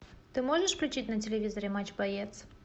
ты можешь включить на телевизоре матч боец